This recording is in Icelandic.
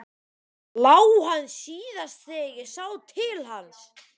LÁ HANN SÍÐAST ÞEGAR ÉG SÁ TIL HANS.